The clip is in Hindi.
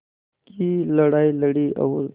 की लड़ाई लड़ी और